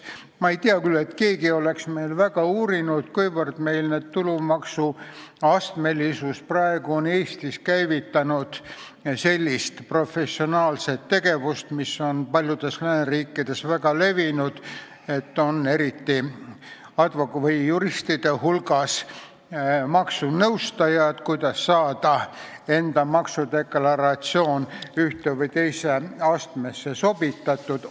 Ma ei tea küll, et keegi oleks meil väga uurinud, kuivõrd tulumaksu astmelisus on Eestis käivitanud sellist professionaalset tegevust, mis on paljudes lääneriikides väga levinud, et eriti juristide hulgas on maksunõustajad, kes aitavad inimesi selles, kuidas saada enda maksudeklaratsioon ühte või teise astmesse sobitatud.